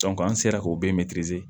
an sera k'o bɛɛ